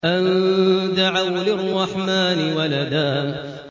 أَن دَعَوْا لِلرَّحْمَٰنِ وَلَدًا